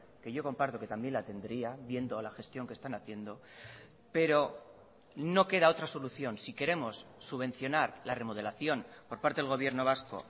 que yo comparto que también la tendría viendo la gestión que están haciendo pero no queda otra solución si queremos subvencionar la remodelación por parte del gobierno vasco